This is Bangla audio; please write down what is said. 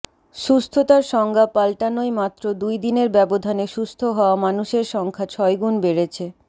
সুস্থতার সংজ্ঞা পাল্টানোয় মাত্র দুই দিনের ব্যবধানে সুস্থ হওয়া মানুষের সংখ্যা ছয়গুণ বেড়েছে